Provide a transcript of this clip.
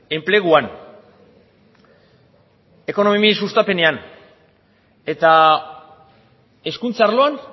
enpleguan ekonomia sustapenean eta hezkuntza arloan